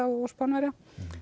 og Spánverja